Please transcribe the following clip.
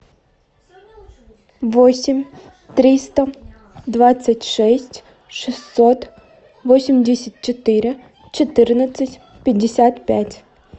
восемь триста двадцать шесть шестьсот восемьдесят четыре четырнадцать пятьдесят пять